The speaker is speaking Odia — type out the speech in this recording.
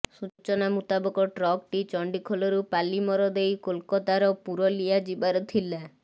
ସୂଚନା ମୁତାବକ ଟ୍ରକଟି ଚଣ୍ଡିଖୋଲରୁ ପାଲିମର ଦେଇ କୋଲକାତାର ପୁରଲିଆ ଯିବାର ଥିଲା